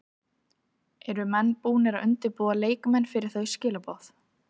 Eru menn búnir að undirbúa leikmenn fyrir þau skilaboð?